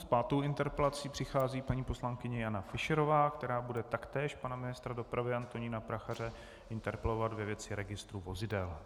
S pátou interpelací přichází paní poslankyně Jana Fischerová, která bude taktéž pana ministra dopravy Antonína Prachaře interpelovat ve věci registru vozidel.